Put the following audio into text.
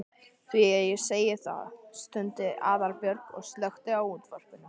Því segi ég það. stundi Aðalbjörg og slökkti á útvarpinu.